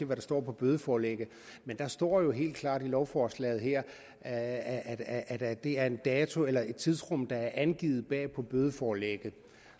der står på bødeforlægget men der står helt klart i lovforslaget her at at det er den dato eller det tidsrum der er angivet bag på bødeforlægget